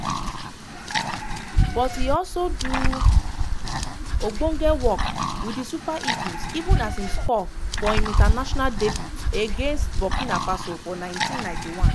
but e also do ogbonge work wit di super eagles even as im score for im international debut against burkina faso for 1991.